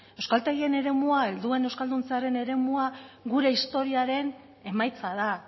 euskaltegien eremua helduen euskalduntzearen eremua gure historiaren emaitza da